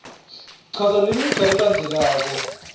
chaza lemigca lelandzelako